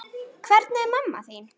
Hvernig er mamma þín?